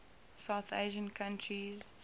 south asian countries